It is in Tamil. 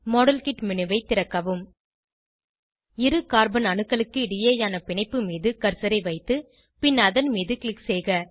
மாடல்கிட் மேனு ஐ திறக்கவும் இரு கார்பன் அணுக்களுக்கு இடையேயான பிணைப்பு மீது கர்சரை வைத்து பின் அதன் மீது க்ளிக் செய்க